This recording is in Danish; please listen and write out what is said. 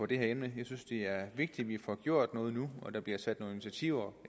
det her emne jeg synes det er vigtigt at vi får gjort noget nu og der bliver sat nogle initiativer